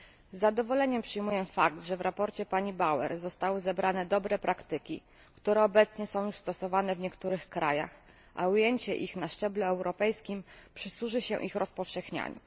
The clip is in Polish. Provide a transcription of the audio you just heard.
Z zadowoleniem przyjmuję fakt, że w sprawozdaniu pani Bauer zostały zebrane dobre praktyki, które obecnie są już stosowane w niektórych krajach, a ujęcie ich na szczeblu europejskim przysłuży się ich rozpowszechnianiu.